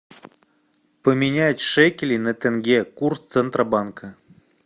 поменять шекели на тенге курс центробанка